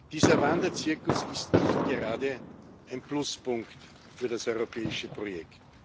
Dieser Wanderzirkus ist nicht gerade ein Pluspunkt für das europäische Projekt.